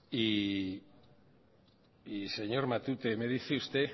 y señor matute me dice usted